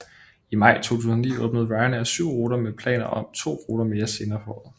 I maj 2009 åbnede Ryanair syv ruter med planer om to ruter mere senere på året